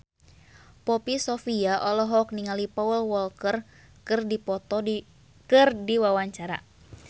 Poppy Sovia olohok ningali Paul Walker keur diwawancara